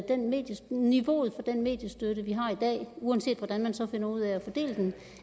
niveauet for den mediestøtte vi har i dag uanset hvordan man så finder ud af at fordele den